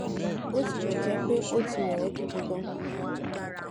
bó tilè jé pé ó ti rè é gidi ganan